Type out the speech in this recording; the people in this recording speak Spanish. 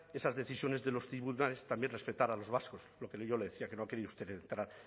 esas decisiones de los tribunales también respetar a los vascos lo que yo le decía que no ha querido usted entrar